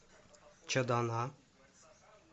чадана